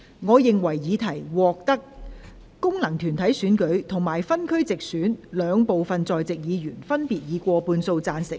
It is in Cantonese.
我認為議題獲得經由功能團體選舉產生及分區直接選舉產生的兩部分在席議員，分別以過半數贊成。